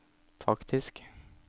faktisk